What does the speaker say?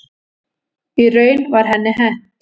Í raun var henni hent.